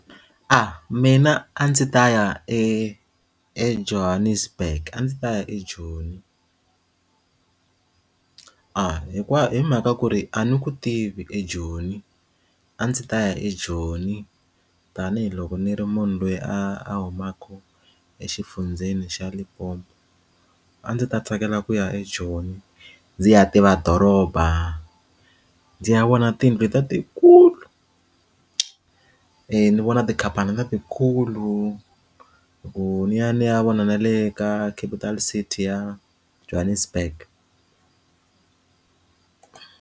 mina a ndzi ta ya e eJohannesburg a ndzi ta ya eJoni ahh hinkwayo hi mhaka ku ri a ni ku tivi ejoni a ndzi ta ya ejoni tanihiloko ni ri munhu loyi a humaka exifundzheni xa Limpopo a ndzi ta tsakela ku ya eJoni ndzi ya tiva doroba ndzi ya vona tiyindlu ta tikulu ni vona tikhampani letikulu loko ni ya ni ya vona na le ka capital city ya Johannesburg.